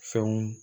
Fɛnw